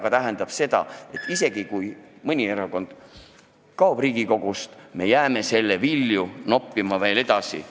See tähendab seda, et isegi kui mõni erakond kaob Riigikogust, me jääme selle vilju noppima kauaks.